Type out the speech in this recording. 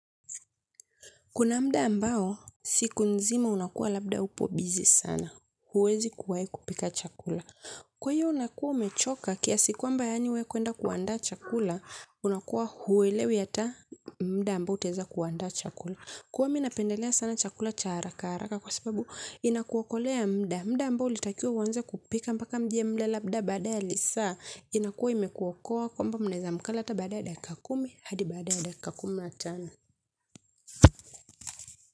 Kuna muda mwingine, siku nzima unakuwa labda upo busy sana. Huwezi kuwai kupika chakula. Kwa hiyo unakuwa umechoka kiasi kwamba wewe kwenda kuandaa chakula, unakuwa huelewi hata muda ambao utaweza kuandaa chakula. Kwa hiyo mimi napendelea sana chakula cha haraka kwa sababu inakuokolea muda ambao ningetumia kupika. Mpaka muda ile labda baada ya saa, inakuwa imekuwa kwamba mnaweza kukaa tu baada ya dakika kumi, hadi baada ya dakika kumi na tano.